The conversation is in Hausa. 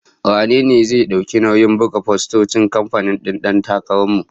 Wane ne zai dauki nauyin buga fostocin kamfen din Dan Takarar mu?